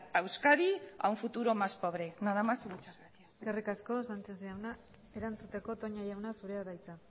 a euskadi a un futuro más pobre nada más y muchas gracias eskerrik asko sánchez jaunak erantzuteko toña jauna zurea da hitza